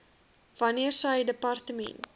wanneer sy departement